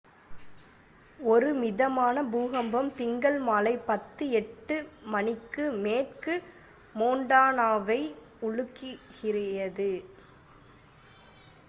ஒரு மிதமான பூகம்பம் திங்கள் மாலை 10:08 மணிக்கு மேற்கு மொன்டானாவை உலுக்கியது